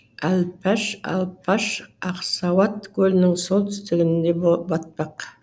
әлпаш алпаш ақсауат көлінің солтүстігінде батпақ